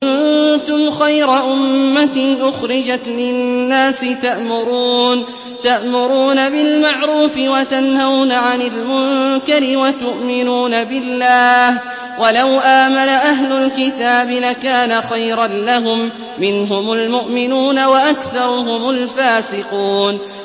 كُنتُمْ خَيْرَ أُمَّةٍ أُخْرِجَتْ لِلنَّاسِ تَأْمُرُونَ بِالْمَعْرُوفِ وَتَنْهَوْنَ عَنِ الْمُنكَرِ وَتُؤْمِنُونَ بِاللَّهِ ۗ وَلَوْ آمَنَ أَهْلُ الْكِتَابِ لَكَانَ خَيْرًا لَّهُم ۚ مِّنْهُمُ الْمُؤْمِنُونَ وَأَكْثَرُهُمُ الْفَاسِقُونَ